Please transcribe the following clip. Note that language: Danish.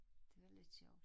Det var lidt sjovt